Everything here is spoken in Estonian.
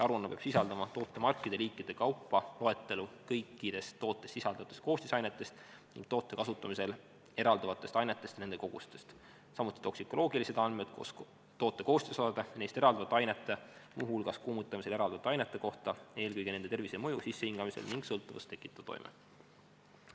Aruanne peab sisaldama tootemarkide ja -liikide kaupa loetelu kõikidest tootes sisalduvatest koostisainetest ning toote kasutamisel eralduvatest ainetest ja nende kogustest, samuti toksikoloogilised andmed koos toote koostisosade ja neist eralduvate ainete, muu hulgas kuumutamisel eralduvate ainete kohta, eelkõige nende tervisemõju sissehingamisel ning sõltuvust tekitav toime.